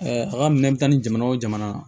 a ka minɛ i bɛ taa ni jamana wo jamana